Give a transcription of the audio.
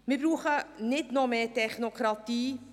Wir brauchen nicht noch mehr Technokratie.